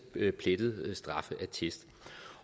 med plettet straffeattest